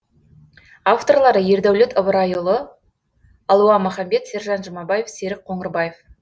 авторлары ердәулет ыбырайұылы алуа маханбет сержан жұмабаев серік қоңырбаев